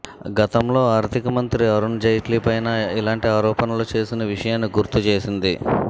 గతంలో ఆర్థికమంత్రి అరుణ్ జైట్లీపైనా ఇలాంటి ఆరోణలు చేసిన విషయాన్ని గుర్తు చేసింది